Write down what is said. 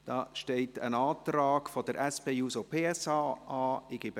Hier liegt ein Antrag der SP-JUSO-PSA vor.